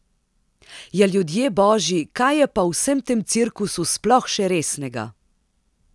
Ja, ljudje božji, kaj je pa v vsem tem cirkusu sploh še resnega?